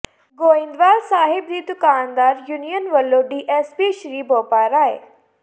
ਗੋਇੰਦਵਾਲ ਸਾਹਿਬ ਦੀ ਦੁਕਾਨਦਾਰ ਯੂਨੀਅਨ ਵੱਲੋਂ D S P Sr Boparai